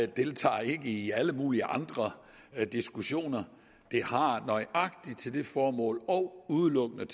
deltager ikke i alle mulige andre diskussioner det har nøjagtig det formål og udelukkende